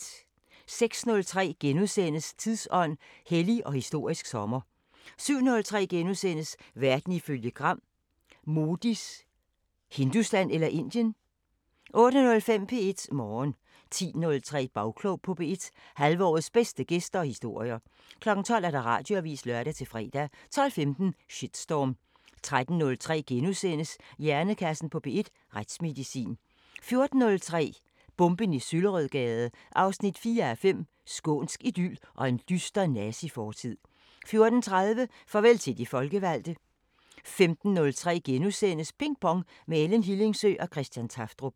06:03: Tidsånd: Hellig og historisk sommer * 07:03: Verden ifølge Gram: Modis "Hindustan" – eller Indien? * 08:05: P1 Morgen 10:03: Bagklog på P1: Halvårets bedste gæster og historier 12:00: Radioavisen (lør-fre) 12:15: Shitstorm 13:03: Hjernekassen på P1: Retsmedicin * 14:03: Bomben i Søllerødgade 4:5 – Skånsk idyl og en dyster nazifortid 14:30: Farvel til de folkevalgte 15:03: Ping Pong – med Ellen Hillingsø og Christian Tafdrup *